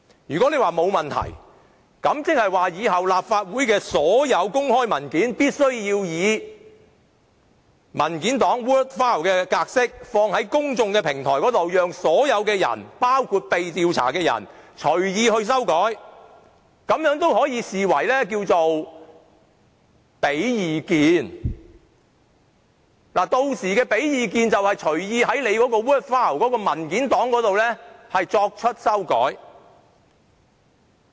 如果大家都說沒有問題，即是說以後立法會的所有公開文件，均須以文件檔 word file 的格式上載於公眾平台，讓所有人包括被調查者隨意修改，並會視此為提供意見，而屆時提供意見便等於隨意在文件檔上作出修改。